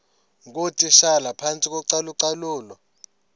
ngootitshala phantsi kocalucalulo